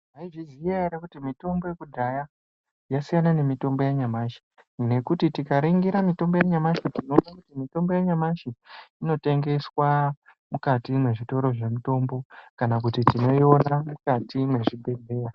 Maizviziva ere kuti mitombo yekudhaya yasiyana nemitombo yanyamashi ngekuti tika ringira mitombo yanyamashi tinoona kuti mitombo ya nyamashi ino tengeswa mukati me zvitoro zve mitombo kana kuti tinoiona mukati mezvibhedhleya.